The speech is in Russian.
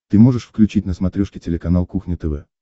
ты можешь включить на смотрешке телеканал кухня тв